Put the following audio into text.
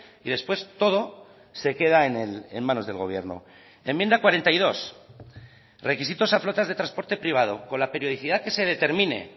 y después todo se queda en manos del gobierno enmienda cuarenta y dos requisitos a flotas de transporte privado con la periodicidad que se determine